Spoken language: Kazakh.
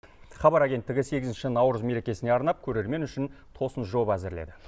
хабар агенттігі сегізінші наурыз мерекесіне арнап көрермен үшін тосын жоба әзірледі